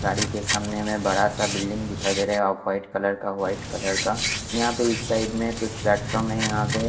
गाड़ी के सामने में बड़ा सा बिल्डिंग दिखाई देरा है ऑफ वाइट कलर का वाइट कलर का यहाँ पे इस साइड में कुछ प्लेटफॉर्म है यहाँ पे--